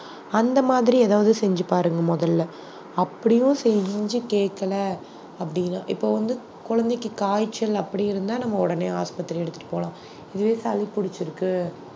அந்த மாதிரி ஏதாவது செஞ்சு பாருங்க முதல்ல அப்படியும் செஞ்சு கேட்கல அப்படின்னா இப்ப வந்து குழந்தைக்கு காய்ச்சல் அப்படி இருந்தா நம்ம உடனே ஆஸ்பத்திரி எடுத்துட்டு போகலாம் இதுவே சளி புடிச்சிருக்கு